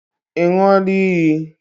Ị ṅụọla iyi?